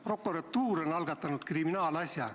Prokuratuur on algatanud kriminaalasja.